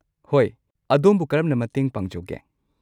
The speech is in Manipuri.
ꯍꯣꯏ, ꯑꯗꯣꯝꯕꯨ ꯀꯔꯝꯅ ꯃꯇꯦꯡ ꯄꯥꯡꯖꯧꯒꯦ?